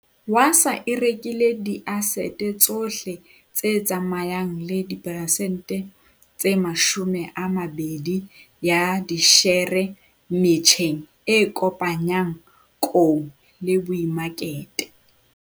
Wasa e rekile diasete tsohle tse tsamayang le diperesente tse 20 ya dishere metjheng e kopanyang kou le boemakete.